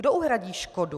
Kdo uhradí škodu?